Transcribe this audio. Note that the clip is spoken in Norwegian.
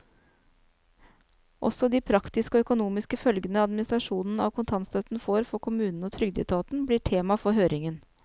Også de praktiske og økonomiske følgene administrasjonen av kontantstøtten får for kommunene og trygdeetaten, blir tema for høringen.